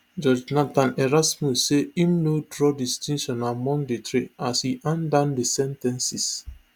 judge nathan erasmus say im no draw distinction among di three as e hand down di sen ten ces